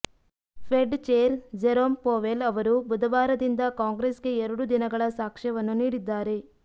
Fed chair Jerome Powell ಅವರು ಬುಧವಾರದಿಂದ ಕಾಂಗ್ರೆಸ್ಗೆ ಎರಡು ದಿನಗಳ ಸಾಕ್ಷ್ಯವನ್ನು ನೀಡಿದ್ದಾರೆ